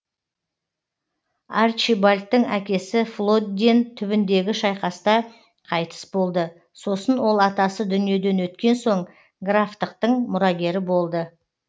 арчибальдтың әкесі флодден түбіндегі шайқаста қайтыс болды сосын ол атасы дүниеден өткен соң графтықтың мұрагері болды